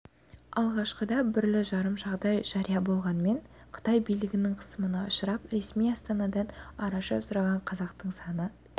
алғашқыда бірлі-жарым жағдай жария болғанымен қытай билігінің қысымына ұшырап ресми астанадан араша сұраған қазақтың саны